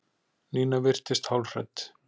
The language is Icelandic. Nína virtist hálfhrædd.